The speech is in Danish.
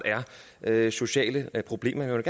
er sociale problemer jeg vil